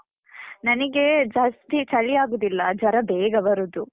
ನನಿಗೆ ಜಾಸ್ತಿ ಚಳಿ ಆಗುದಿಲ್ಲ. ಜ್ವರ ಬೇಗ ಬರುದು.